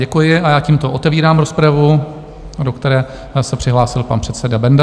Děkuji a já tímto otevírám rozpravu, do které se přihlásil pan předseda Benda.